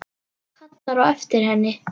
Kallar á eftir henni.